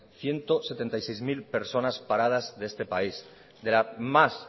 ciento setenta y seis mil personas paradas de este país de la más